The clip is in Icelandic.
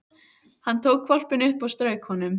Hann tók hvolpinn upp og strauk honum.